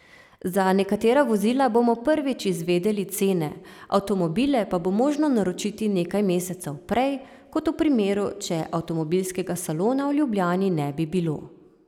Za nekatera vozila bomo prvič izvedeli cene, avtomobile pa bo možno naročiti nekaj mesecev prej, kot v primeru, če avtomobilskega salona v Ljubljani ne bi bilo.